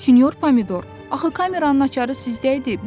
Sinyor Pomidor, axı kameranın açarı sizdə idi.